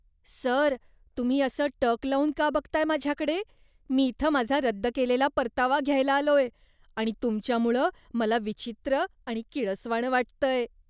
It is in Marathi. सर, तुम्ही असं टक लावून का बघताय माझ्याकडे? मी इथं माझा रद्द केलेला परतावा घ्यायला आलोय आणि तुमच्यामुळं मला विचित्र आणि किळसवाणं वाटतंय.